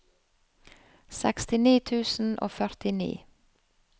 sekstini tusen og førtini